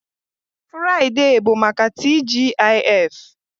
Furaidee bụ maka TGIF